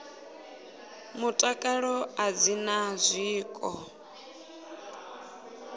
mutakalo a dzi na zwiko